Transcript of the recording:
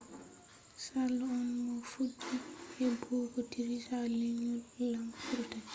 charles on mo fuɗɗi heɓɓugo digiri ha lenyol lamu britania